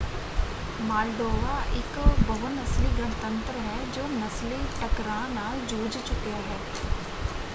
Moldova ਇੱਕ ਬਹੁ-ਨਸਲੀ ਗਣਤੰਤਰ ਹੈ ਜੋ ਨਸਲੀ ਟਕਰਾਅ ਨਾਲ ਜੂਝ ਚੁਕਿਆ ਹੈ।